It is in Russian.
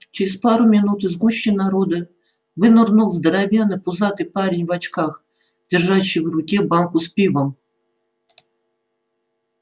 через пару минут из гущи народа вынырнул здоровенный пузатый парень в очках держащий в руке банку с пивом